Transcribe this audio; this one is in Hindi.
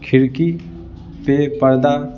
खिड़की पे पर्दा--